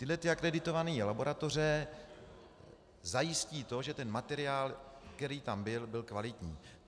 Tyhle ty akreditované laboratoře zajistí to, že ten materiál, který tam byl, byl kvalitní.